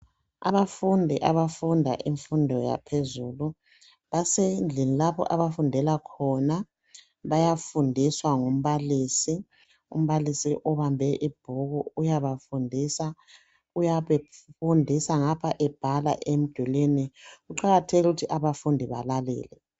Abafundi abafunda imfundo yaphezulu basendlini lapho abafundela khona. Bayafundiswa ngumbalisi, umbalisi uyabafundisa ngapha ebhala emdulini. Kuqakathekile ukuthi abafundi balalele.